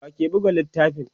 wake Buga littafin?